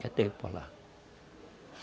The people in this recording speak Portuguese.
Já teve por lá.